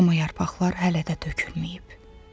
Amma yarpaqlar hələ də tökülməyib.